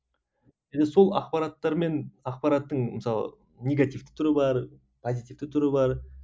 енді сол ақпараттармен ақпараттың мысалы негативті түрі бар позитивті түрі бар